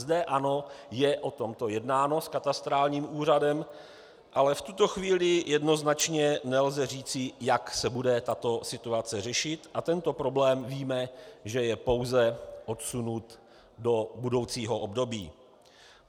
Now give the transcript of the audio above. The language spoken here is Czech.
- Zde, ano, je o tomto jednáno s Katastrálním úřadem, ale v tuto chvíli jednoznačně nelze říci, jak se bude tato situace řešit, a tento problém, víme, že je pouze odsunut do budoucího období.